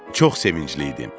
Çox sevincli idim.